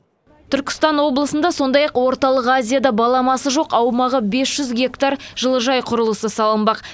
түркістан облысында сондай ақ орталық азияда баламасы жоқ аумағы бес жүз гектар жылыжай құрылысы салынбақ